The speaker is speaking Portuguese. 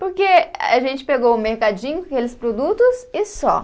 Porque a gente pegou o mercadinho com aqueles produtos e só.